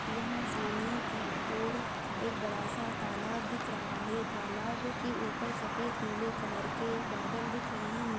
यहाँ सामने की और एक बड़ा सा तालाब दिख रहा है तालाब के ऊपर सफेद पीले कलर के बादल दिख रहै हैं ।